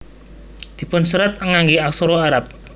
Dipun serat nganggé aksara Arab